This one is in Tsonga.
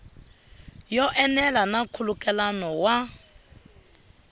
yo enela na nkhulukelano wa